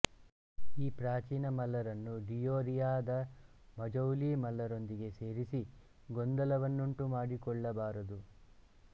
ಈ ಪ್ರಾಚೀನ ಮಲ್ಲರನ್ನು ಡಿಯೋರಿಯಾದ ಮಜೌಲಿ ಮಲ್ಲರೊಂದಿಗೆ ಸೇರಿಸಿ ಗೊಂದಲವನ್ನುಂಟುಮಾಡಿಕೊಳ್ಳಬಾರದು